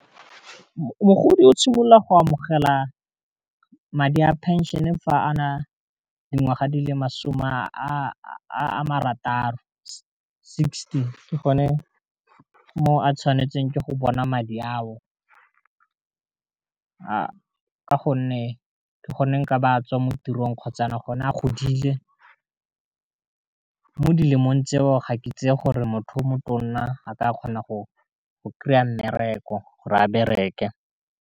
Mogodi o tshimolola go amogela madi a penšion-e fa a na le dingwaga di le masome a marataro sixty, ke gone mo a tshwanetseng ke go bona madi ao, ka gonne ke gone nka ba tswa mo tirong kgotsa gone a godile mo di lemong tseo ga ke tseye gore motho o motonna a ka kgona go kry-a mmereko gore a bereke.